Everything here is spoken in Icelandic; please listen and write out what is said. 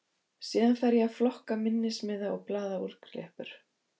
Síðan fer ég að flokka minnismiða og blaðaúrklippur.